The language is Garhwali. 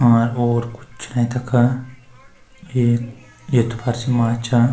और ओर कुच्छ नही तखा एक येथ्पर छि माछा।